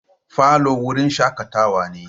Falo wurin shakatawa ne.